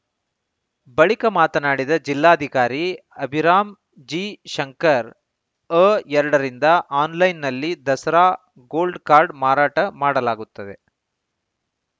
ಬಳಿಕ ಮಾತನಾಡಿದ ಜಿಲ್ಲಾಧಿಕಾರಿ ಅಭಿರಾಮ್‌ ಜಿಶಂಕರ್‌ ಅ ಎರಡರಿಂದ ಆನ್‌ಲೈನ್‌ನಲ್ಲಿ ದಸರಾ ಗೋಲ್ಡ್‌ ಕಾರ್ಡ್‌ ಮಾರಾಟ ಮಾಡಲಾಗುತ್ತದೆ